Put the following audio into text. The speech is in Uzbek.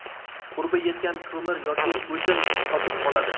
Qurbi yetgan ko‘mir yoki o‘tin sotib oladi.